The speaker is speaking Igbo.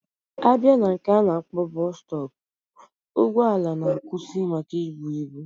Abia na nke ana akpo bus stop, ugbo ala na akwusi maka ibu ibu.